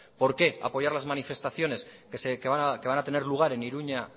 por qué apoyar las manifestaciones que van a tener lugar en iruña